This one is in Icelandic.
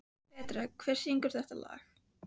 Patrek, hver syngur þetta lag?